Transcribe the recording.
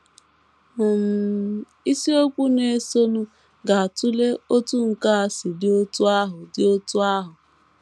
um Isiokwu na - esonụ ga - atụle otú nke a si dị otú ahụ dị otú ahụ.